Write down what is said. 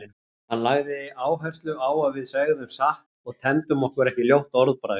Hann lagði áherslu á að við segðum satt og temdum okkur ekki ljótt orðbragð.